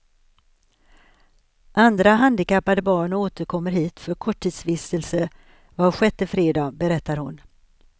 Andra handikappade barn återkommer hit för korttidsvistelse var sjätte fredag, berättar hon.